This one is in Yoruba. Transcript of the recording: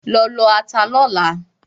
Lọ lọ ata lọ́la!